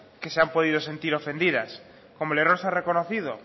que se han podido sentir ofendidas como el error se ha reconocido